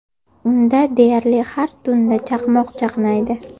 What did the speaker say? Unda deyarli har tunda chaqmoq chaqnaydi.